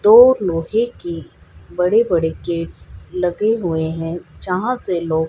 दो लोहे की बड़े बड़े गेट लगे हुए हैं यहां से लोग--